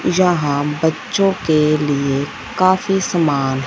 जहां बच्चों के लिए काफी सामान --